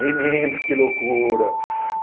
Menina, que loucura.